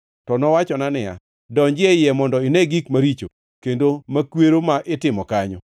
To nowachona niya, “Donji e iye mondo ine gik maricho kendo makwero ma gitimo kanyo.”